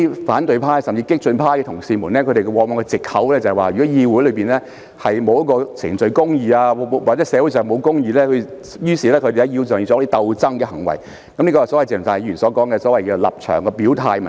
反對派甚至激進派議員往往指出，議會內如沒有程序公義，社會上如沒有公義，他們便需要在議會內作出鬥爭行為，這便是鄭松泰議員所提出的立場表態問題。